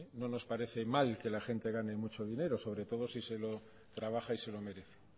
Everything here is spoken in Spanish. no nos parece mal que la gente gane mucho dinero sobre todo si se lo trabaja y se lo merece